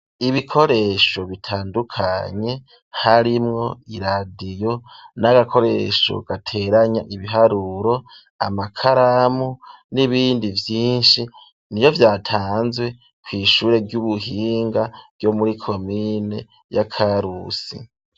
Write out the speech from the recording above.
Ibikoresho bitandukanye harimwo iradiyo, n'agakoresho gateranya ibiharuro, amakaramu n'ibindi vyinshi, iyo vyatanzwe kw'ishure ry'ubuhinga ryo muri komine y'a karusi.